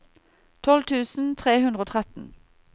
tolv tusen tre hundre og tretten